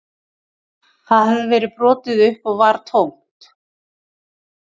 Það hafði verið brotið upp og var tómt